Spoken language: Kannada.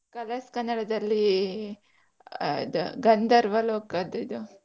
Colors Kannada ದಲ್ಲಿ ಈ ಎಂತ ಗಂಧರ್ವ ಲೋಕದ್ ಇದು.